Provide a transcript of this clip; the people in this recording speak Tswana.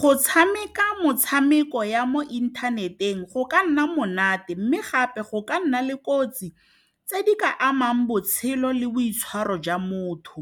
Go tshameka motshameko ya mo inthaneteng go ka nna monate mme gape go ka nna le kotsi tse di ka amang botshelo le boitshwaro jwa motho.